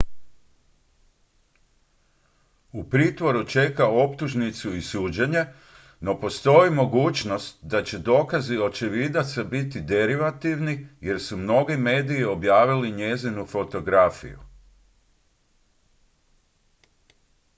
u pritvoru čeka optužnicu i suđenje no postoji mogućnost da će dokazi očevidaca biti derivativni jer su mnogi mediji objavili njezinu fotografiju